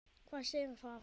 Hvað segir það?